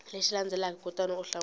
lexi landzelaka kutani u hlamula